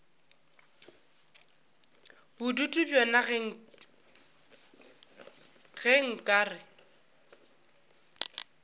bodutu bjona ge nka re